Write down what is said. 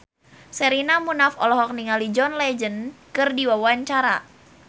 Sherina Munaf olohok ningali John Legend keur diwawancara